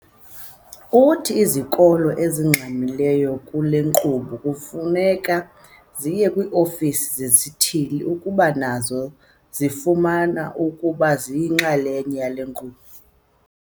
Uthi izikolo ezingaxhamliyo kule nkqubo kufuneka ziye kwii-ofisi zesithili ukuba nazo zifuna ukuba yinxalenye yale nkqubo.